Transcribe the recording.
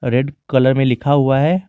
Red colour में लिखा हुआ है।